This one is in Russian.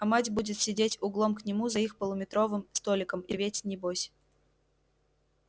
а мать будет сидеть углом к нему за их полуметровым столиком и реветь небось